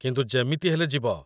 କିନ୍ତୁ ଯେମିତି ହେଲେ ଯିବ